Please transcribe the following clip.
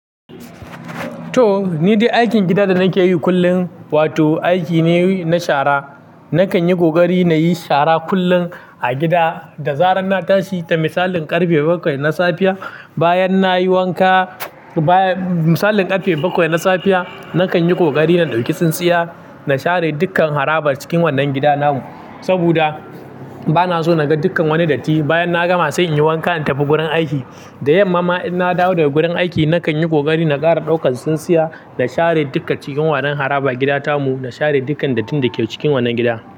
To, ni dai aikin gida da nake yi kullum wato aiki ne na shara. Nakan yi ƙoƙari na yi shara kullum a gida da zarar na tashi. Da misalin ƙarfe bakwai na safiya, bayan na yi wanka, misalin ƙarfe bakwai na safiya, nakan yi ƙoƙari na ɗauki tsintsiya na share dukkan harabar cikin wannan gida namu. Saboda bana so na ga dukkan wani datti. Bayan na gama sai in yi wanka in tafi gurin aiki. Da yamma ma in na dawo daga gurin aiki, nakan yi ƙoƙari na ƙara ɗaukan tsintsiya na share dukkan cikin wannan harabar gida tamu, na share dukkan dattin da ke cikin wannan gida.